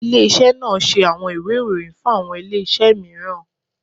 Ile-iṣẹ naa ṣe awọn iwe iroyin, fun awọn ile-iṣẹ miiran